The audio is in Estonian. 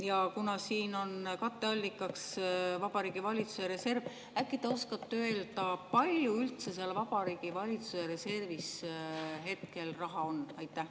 Ja kuna siin on katteallikaks Vabariigi Valitsuse reserv, äkki te oskate öelda, palju üldse seal Vabariigi Valitsuse reservis hetkel raha on?